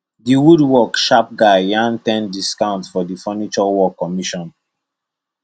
the woodwork sharp guy yarn ten discount for the furniture work commission